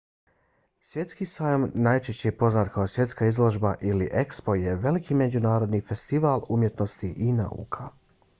svjetski sajam najčešće poznat kao svjetska izložba ili expo je veliki međunarodni festival umjetnosti i nauka